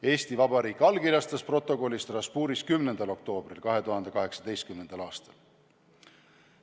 Eesti Vabariik allkirjastas protokolli Strasbourgis 10. oktoobril 2018. aastal.